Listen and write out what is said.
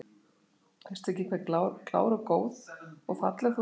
Veistu ekki hve klár og góð og falleg þú ert?